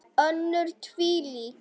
Önnur tilvik.